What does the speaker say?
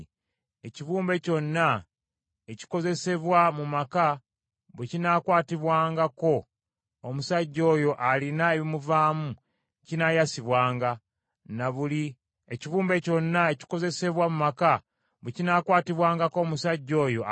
Ekibumbe kyonna ekikozesebwa mu maka bwe kinaakwatibwangako omusajja oyo alina ebimuvaamu kinaayasibwanga, na buli ekikozesebwa mu maka eky’omuti kinaanaazibwanga mu mazzi.